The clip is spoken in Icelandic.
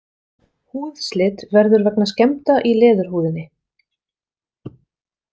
Húðslit verður vegna skemmda í leðurhúðinni.